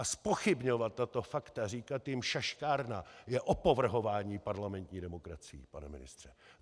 A zpochybňovat tato fakta, říkat jim šaškárna, je opovrhování parlamentní demokracií, pane ministře.